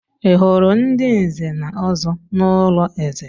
Ị hụrụ ndị Nze na Ọzọ n'ụlọ eze?